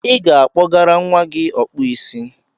I ga-akpọgara nwa gị Ọkpụisi.